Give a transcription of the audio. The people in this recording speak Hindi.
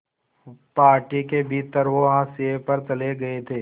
पार्टी के भीतर वो हाशिए पर चले गए थे